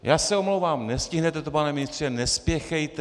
Já se omlouvám, nestihnete to, pane ministře, nespěchejte.